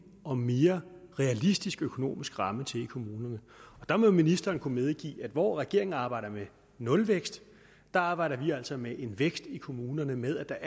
og mere realistisk økonomisk ramme til i kommunerne der må ministeren kunne medgive at hvor regeringen arbejder med nulvækst arbejder vi altså med en vækst i kommunerne med at